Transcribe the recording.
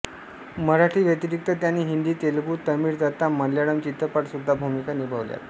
मराठी व्यतिरिक्त त्यांनी हिंदी तेलुगू तामिळ तथा मल्याळम चित्रपटात सुद्धा भूमिका निभावल्यात